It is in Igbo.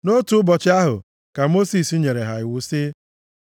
Nʼotu ụbọchị ahụ ka Mosis nyere ha iwu sị,